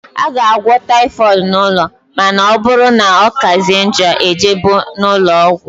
A ga - agwọ typhooid n' ụlọ ma na ọbụrụ na ọkazie njọ ejebe n' ulọọgwu.